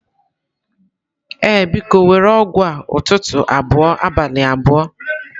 Ee, biko, were ọgwụ a ụtụtụ abụọ abalị abụọ.